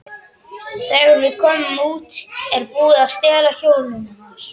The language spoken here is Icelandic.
Þegar við komum út er búið að stela hjólinu hans.